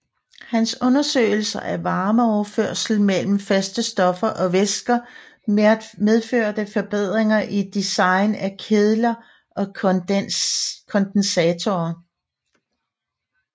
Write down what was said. Hans undersøgelser af varmeoverførsel mellem faste stoffer og væsker medførte forbedringer i design af kedler og kondensatore